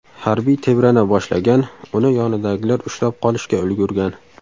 Harbiy tebrana boshlagan, uni yonidagilar ushlab qolishga ulgurgan.